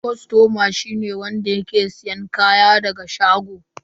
Kostoma shi ne wanda ke siyan kaya daga shago.